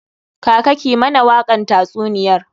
Kaka ki mana wakan tatsuniyar!